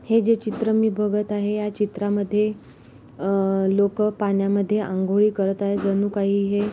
हे जे मी चित्र बघत आहे या चित्रामध्ये अह लोक पाण्यामध्ये अंघोळी करत आहेजणू काही हे --